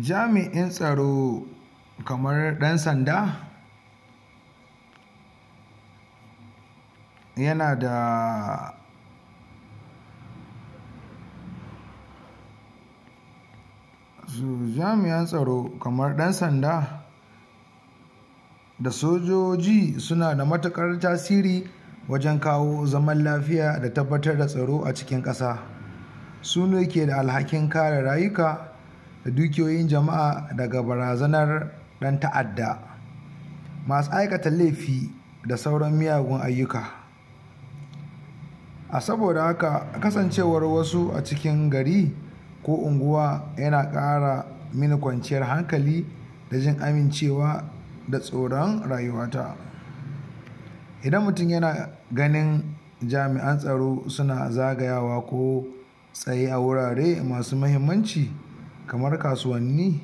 jami'in tsaro kamar ɗan sanda yana da jamian tsaro kaman ɗan sanda da sojoji suna da matuƙar tasiri wajen kawo zaman lafiya da tabbatar da tsaro a cikin ƙasa sune keda alhakin kare rayuka da dukiyoyin al'umma daga barazanar ɗan ta'adda masu aikata laifi da sauran miyagun ayyuka a saboda haka kasancewar wasu a cikin gari ko unguwa yana ƙara mini kwanciyar hankali da jin amincewa da tsoron rayuwata. idan mutum yana ganin jami'an tsaro suna zagayawa ko tsaye a wurare masu mahimmanci kamar kasuwanni,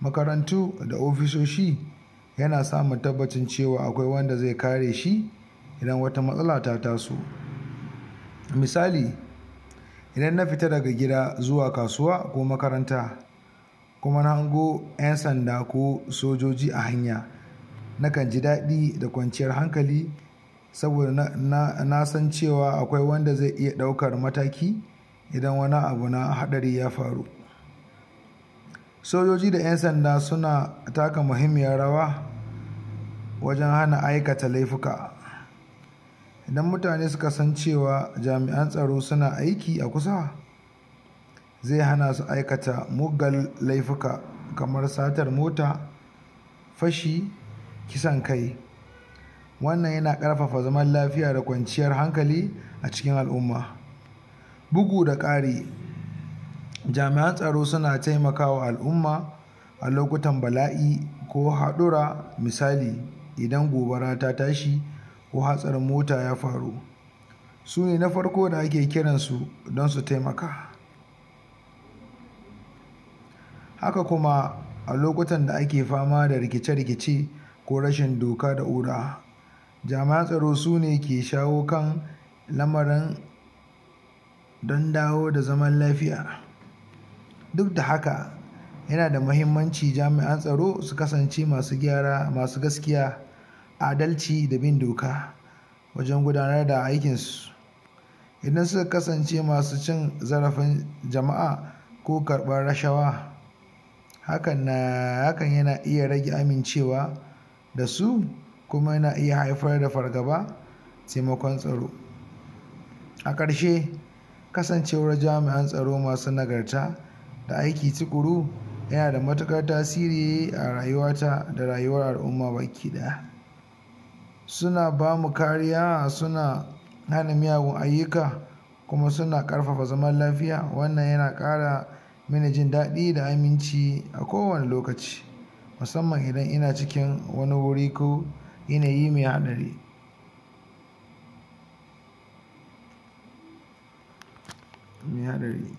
makarantu da ofisoshi yana samun tabbacin akwai wanda zai kares hi idan wata matsala ta taso misali idan na fita daga gida zuwa kasuwa ko makaranta kuma na hango ƴan sanda ko sojoji a hanya nakan ji daɗi da kwanciyar hankali saboda nasan akwai wanda zai iya ɗaukar mataki idan wani abu na haɗari ya faru. sojoji da ƴan sanda suna taka mahimmiyar rawa wajen hana aikata laifuka idan mutane sukasan cewa jami'an tsaro suna aiki a kusa zai hana su aikata muggan laifuka kamar satar mota fashi, kisan kai wannan yana karfafa zaman lafiya da kwanciyar hankali a cikin al'umma. bugu da ƙari jami'an tsaro suna taiakama al'umma a lokutan bala'i ko haɗurra misali idan gobara ta tashi ko hatsarin mota ya faru sune na farko da ake kiran su don su taimaka. haka kuma a lokutan da ake fama da rikice rikice ko rashi doka da oda jami'an tsaro sune ke shawo kan lamarin don dawo da zaman lafiya duk da haka yana da mahimmanci jamian tsaro su kasance masu gyara masu gaskiya, adalci da bin doka wajen gudanar da aikin su idan suka kasance masu cin zarafin jama'a ko karɓan rashawa hakan na hakan yana iya rage amincewa dasu kuma yana iya haifar da fargaba taimakon tsaro a ƙarshe kasancewar jami'an tsaro masu nagarta da aiki tuƙuru yanada matuƙar tasiri a rayuwata da rayuwar al'umma baki ɗaya suna bamu kariya suna hana miyagun ayyuka kuma suna karfafa zaman lafiya wannan yana ƙara mini jin daɗi da aminci a kowane lokaci musamman idan ina cikin wani guri ko yanayi mai haɗari.